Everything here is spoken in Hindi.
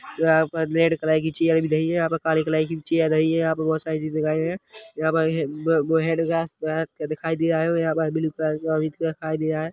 यहां पर रेड कलर कि चेयर दिख रही है यहां पर काले कलर कि चेयर दिख रही है यहां पर बहुत सारी चीजे दिखाय दे रही है यहां पर दो हैंड हैंडग्लूव्स दिखाय दे रहे है यहां पर ब्लू कपडा दिखाई दे रहा है।